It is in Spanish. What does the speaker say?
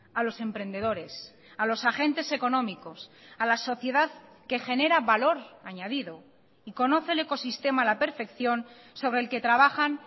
a los emprendedores a los agentes económicos a la sociedad que genera valor añadido y conoce el ecosistema a la perfección sobre el que trabajan